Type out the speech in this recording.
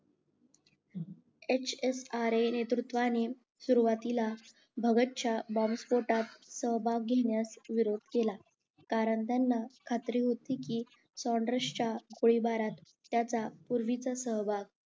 HSRA नेतृत्वाने सुरवातीला भागात सिंग बॉम्बस्फोटात सहभाग घेण्यास विरोध केला कारण त्यांना खात्री होती कि च्या गोळीबारात त्याचा पूर्वीचा सहभाग